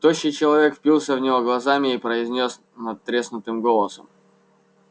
тощий человек впился в него глазами и произнёс надтреснутым голосом